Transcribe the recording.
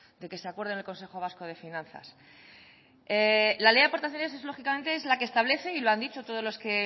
de que se acuerde el consejo vasco de finanzas la ley de aportaciones es lógicamente la que establece y lo han dicho todos los que